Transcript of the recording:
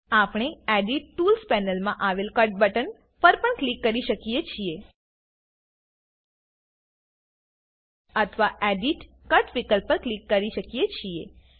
આપણે edit tools પેનલમાં આવેલ કટ બટન પર પણ ક્લિક કરી શકીએ છીએ અથવા એડિટ કટ વિકલ્પ પર ક્લિક કરી શકીએ છીએ